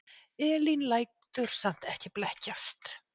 Elín lætur samt ekki blekkjast.